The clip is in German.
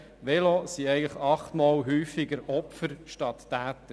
Velofahrer sind achtmal häufiger Opfer als Täter.